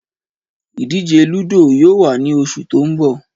Ìdíje lúdò yóò wà ní oṣù tó ń bọ̀